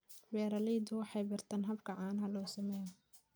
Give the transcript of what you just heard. Beeraleydu waxay bartaan habka caanaha loo sameeyo.